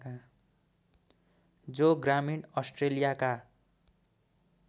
जो ग्रामीण अस्ट्रेलियाका